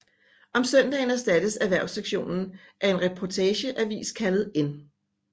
Om søndagen erstattes erhvervssektoren af en reportageavis kaldet N